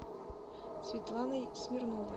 светланой смирновой